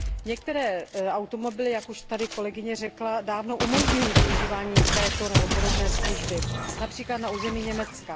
Některé automobily, jak tady již kolegyně řekla, dávno umožňují využívání této nebo podobné služby, například na území Německa.